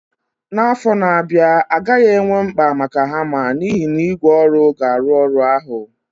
N'afọ ndị na-abịa, a gaghị enwe mkpa maka hama n'ihi na ígwè ọrụ ga-arụ ọrụ ahụ.